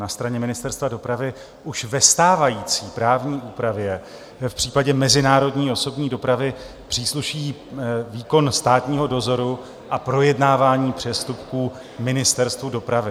Na straně Ministerstva dopravy už ve stávající právní úpravě v případě mezinárodní osobní dopravy přísluší výkon státního dozoru a projednávání přestupků Ministerstvu dopravy.